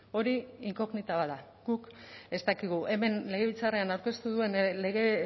hori inkognita bat da guk ez dakigu hemen legebiltzarrean aurkeztu duen lege